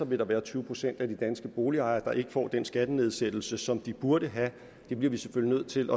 vil være tyve procent af de danske boligejere som ikke får den skattenedsættelse som de burde få det bliver vi selvfølgelig nødt til